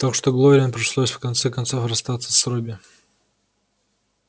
так что глории пришлось в конце концов расстаться с робби